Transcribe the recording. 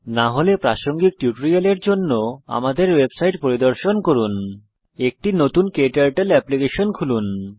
না হলে সংশ্লিষ্ট টিউটোরিয়ালের জন্য অনুগ্রহ করে আমাদের ওয়েবসাইট পরিদর্শন করুন httpspoken tutorialorg একটি নতুন ক্টার্টল এপ্লিকেশন খুলুন